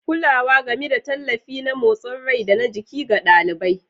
Kulawa, gami da tallafi na motsin rai da na jiki ga ɗalibai.